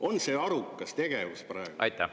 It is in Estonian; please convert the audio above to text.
On see arukas tegevus praegu?